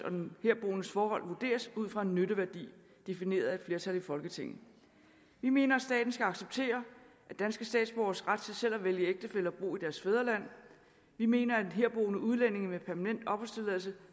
den herboendes forhold vurderes ud fra en nytteværdi defineret af et flertal i folketinget vi mener at staten skal acceptere danske statsborgeres ret til selv at vælge ægtefælle og bo i deres fædreland vi mener at herboende udlændinge med permanent opholdstilladelse